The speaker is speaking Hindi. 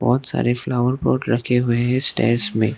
बहोत सारे फ्लावर पॉट्स रखे हुए हैं स्टेयर्स में।